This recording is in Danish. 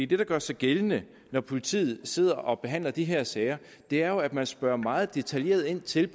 det der gør sig gældende når politiet sidder og behandler de her sager er jo at man spørger meget detaljeret ind til